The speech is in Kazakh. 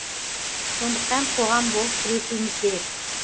сондықтан қоғам болып күресуіміз керек